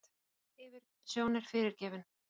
Þessi yfirsjón er fyrirgefin.